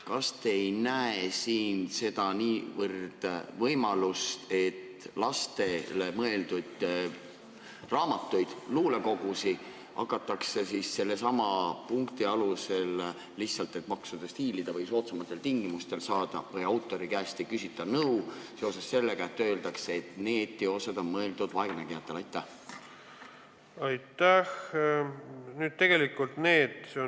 Kas te ei näe siin seda võimalust, et lastele mõeldud raamatutes, luulekogudes, hakatakse kasutama sedasama kirja, lihtsalt et maksudest kõrvale hiilida või soodsamaid tingimusi saada, seoses sellega, et need teosed on mõeldud vaegnägijatele, ning autori käest ei küsita nõusolekut?